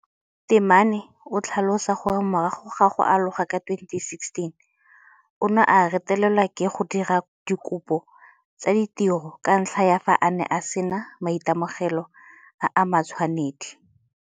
Temane o tlhalosa gore morago ga go aloga ka 2016 o ne a retelelwa ke go dira dikopo tsa ditiro ka ntlha ya fa a ne a sena maitemogelo a a matshwanedi.